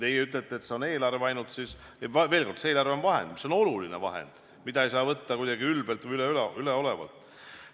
Kui teie ütlete, et see on eelarve ainult, siis veel kord: eelarve on vahend, mis on oluline ja mida ei saa võtta kuidagi ülbelt või üleolevalt.